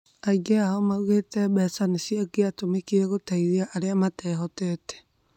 Aingĩ ao maugĩte mbeca cingĩatumĩkire guteithia aria matehotete